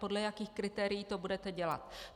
Podle jakých kritérií to budete dělat?